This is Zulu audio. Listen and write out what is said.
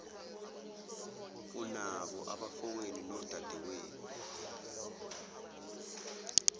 unabo abafowenu nodadewenu